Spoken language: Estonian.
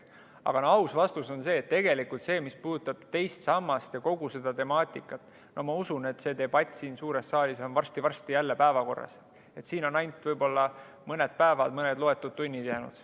Aga aus vastus on tegelikult see: mis puudutab teist sammast ja kogu seda temaatikat, siis ma usun, et see debatt on siin suures saalis varsti jälle päevakorras, jäänud on võib-olla veel ainult mõned päevad.